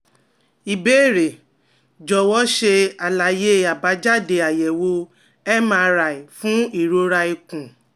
Ìbéèrè jọ̀wọ́, ṣe àlàyé àbájáde àyẹ̀wò MRI fún ìròra ikùn